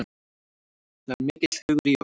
Það er mikill hugur í okkur